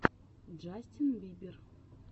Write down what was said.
джастин бибер